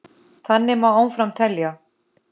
Þannig má áfram telja.